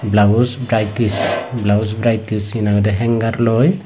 blouse varieties blouse varieties he nang hoidey hanger loi.